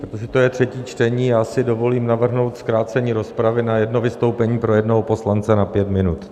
Protože to je třetí čtení, já si dovolím navrhnout zkrácení rozpravy na jedno vystoupení pro jednoho poslance na pět minut.